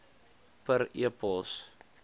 per e pos